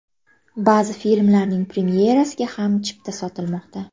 Ba’zi filmlarning premyerasiga ham chipta sotilmoqda.